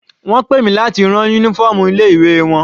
Wọ́n pè mi láti rán uniform ilé ìwé wọn.